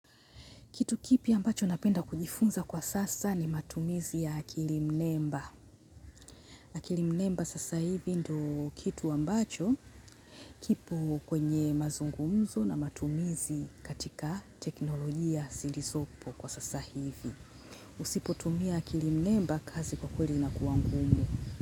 Kitu kipi ambacho napenda kujifunza kwa sasa ni matumizi ya akili mnemba. Akili mnemba sasa hivi ndio kitu ambacho kipo kwenye mazungumzo na matumizi katika teknolojia zilizopo kwa sasa hivi. Usipotumia akili mnemba kazi kwa kweli inakuwa ngumu.